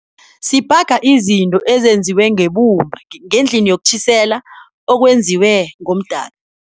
Sibhaga izinto ezinziwe ngebumba ngendlini yokutjhisela okwenziwe ngomdaka.